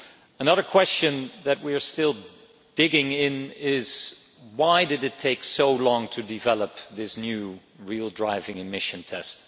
Another question that we are still digging into is why did it take so long to develop this new real driving emission test?